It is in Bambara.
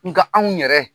Nga anw yɛrɛ